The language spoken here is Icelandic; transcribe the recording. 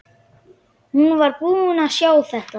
Hún var búin að sjá þetta!